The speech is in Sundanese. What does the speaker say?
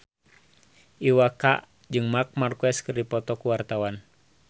Iwa K jeung Marc Marquez keur dipoto ku wartawan